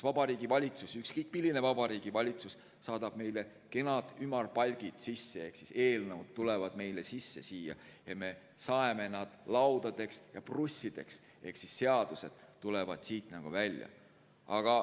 Vabariigi Valitsus, ükskõik milline Vabariigi Valitsus, saadab kenad ümarpalgid sisse ehk eelnõud tulevad meile siia ja me saeme nad laudadeks ja prussideks ehk seadused lähevad siit välja.